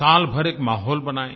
साल भर एक माहौल बनाएँ